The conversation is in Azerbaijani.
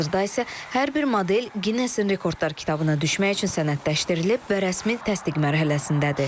Hazırda isə hər bir model Ginnesin rekordlar kitabına düşmək üçün sənədləşdirilib və rəsmi təsdiq mərhələsindədir.